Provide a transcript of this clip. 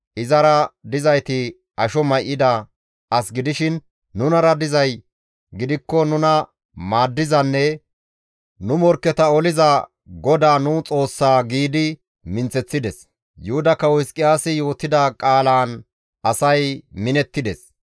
Izara dizayti asho may7ida as gidishin nunara dizay gidikko nuna maaddizanne nu morkketa oliza GODAA nu Xoossaa» giidi minththeththides. Yuhuda kawo Hizqiyaasi yootida qaalaan asay minettides.